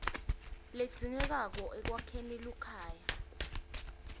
ledzingekako ekwakheni luhlaka